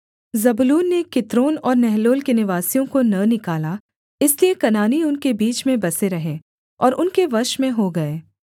जबूलून ने कित्रोन और नहलोल के निवासियों को न निकाला इसलिए कनानी उनके बीच में बसे रहे और उनके वश में हो गए